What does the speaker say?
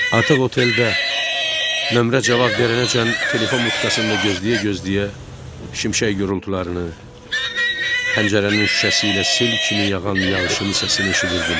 Artıq oteldə nömrə cavab verənəcən telefon butkasında gözləyə-gözləyə şimşək gurultularını, pəncərənin şüşəsiylə sel kimi yağan yağışın səsini eşidirdim.